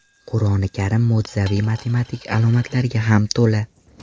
Qur’oni Karim mo‘jizaviy matematik alomatlarga ham to‘la.